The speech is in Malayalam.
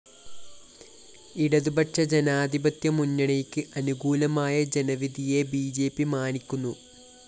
ഇടതു പക്ഷജനാധിപത്യ മുന്നണിയ്ക്ക് അനുകൂലമായ ജനവിധിയെ ബി ജെ പി മാനിക്കുന്നു